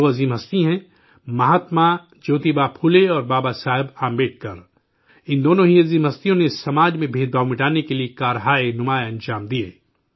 یہ دو عظیم شخصیات ہیں مہاتما جیوتبا پھلے، اور بابا صاحب امبیڈکر ان دونوں ہی شخصیات نے سماج میں بھید بھاؤ مٹانے کے لیے غیر معمولی تعاون دیا